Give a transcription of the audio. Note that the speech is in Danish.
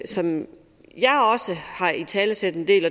som jeg har italesat en del